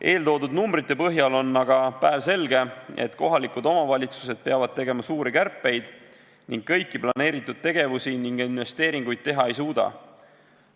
Eeltoodud numbrite põhjal on aga päevselge, et kohalikud omavalitsused peavad tegema suuri kärpeid ning kõiki planeeritud tegevusi ja investeeringuid teha ei suuda.